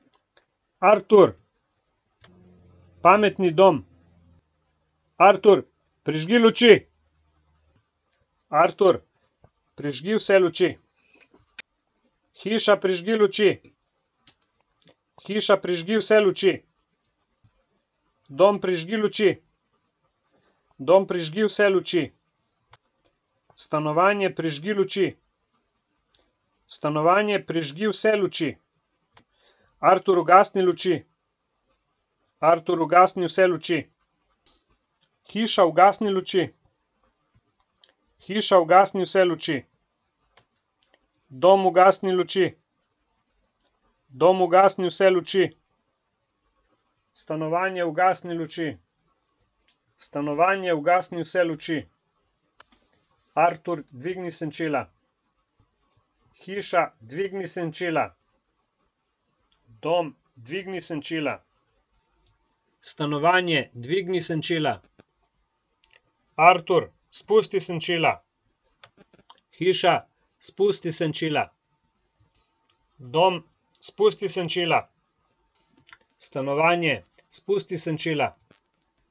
Artur. Pametni dom. Artur, prižgi luči. Artur, prižgi vse luči. Hiša, prižgi luči. Hiša, prižgi vse luči. Dom, prižgi luči. Dom, prižgi vse luči. Stanovanje, prižgi luči. Stanovanje, prižgi vse luči. Artur, ugasni luči. Artur, ugasni vse luči. Hiša, ugasni luči. Hiša, ugasni vse luči. Dom, ugasni luči. Dom, ugasni vse luči. Stanovanje, ugasni luči. Stanovanje, ugasni vse luči. Artur, dvigni senčila. Hiša, dvigni senčila. Dom, dvigni senčila. Stanovanje, dvigni senčila. Artur, spusti senčila. Hiša, spusti senčila. Dom, spusti senčila. Stanovanje, spusti senčila.